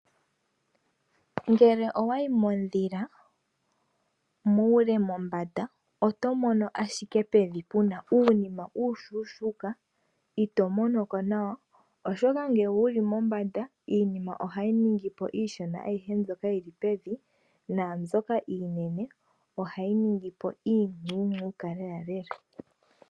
Ngele owayi mondhila muule mombanda oto mono ashike pevi puna uunima uushushuuka ito mono ko nawa, oshoka ngele wuli mombanda iinima ohayi ningi po iishona ayihe mbyoka yi li pe vi, naambyoka iinene ohayi ningi po iishona lelalela.